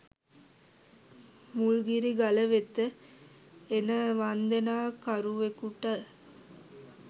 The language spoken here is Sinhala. මුල්ගිරි ගල වෙත එන වන්දනා කරුවකුට